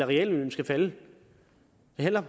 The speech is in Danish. reallønnen skal falde det handler